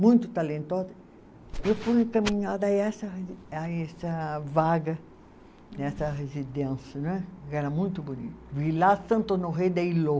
muito talentosa, eu fui encaminhada a essa, a essa vaga, nessa residência né, que era muito bonita, Vila Santo Noé de Iló.